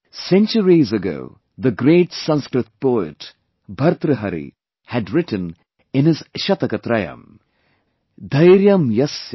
Centuries ago, the great Sanskrit Poet Bhartahari had written in his 'Shataktrayam'